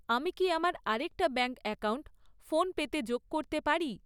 আমি কি আমার আরেকটা ব্যাঙ্ক অ্যাকাউন্ট ফোনপেতে যোগ করতে পারি?